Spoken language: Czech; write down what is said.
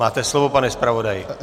Máte slovo, pane zpravodaji.